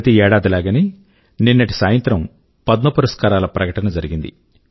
ప్రతి ఏడాది లాగనే నిన్నటి సాయంత్రం పద్మ పురస్కారాల ప్రకటన జరిగింది